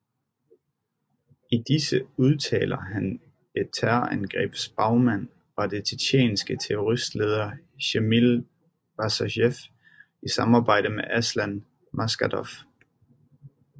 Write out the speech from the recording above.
I disse udtaler han at terrorangrebets bagmand var den tjetjenske terroristleder Sjamil Basajev i samarbejde med Aslan Maskhadov